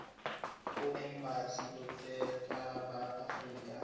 go embasi botseta ba aforika